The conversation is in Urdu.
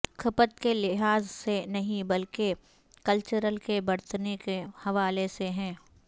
کھپت کے لحاظ سے نہیں بلکہ کہ کلچر کے برتنے کے حوالے سے ہیں